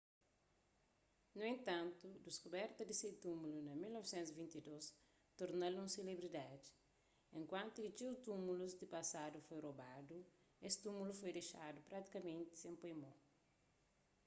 nu entantu diskuberta di se túmulu na 1922 torna-l un selebridadi enkuantu ki txeu túmulus di pasadu foi robadu es túmulu foi dexadu pratikamenti sen poi mo